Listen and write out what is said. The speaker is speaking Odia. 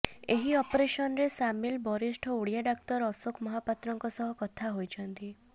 ଏହି ଅପରେସନରେ ସାମିଲ ବରିଷ୍ଠ ଓଡ଼ିଆ ଡାକ୍ତର ଅଶୋକ ମହାପାତ୍ରଙ୍କ ସହ କଥା ହୋଇଛନ୍ତି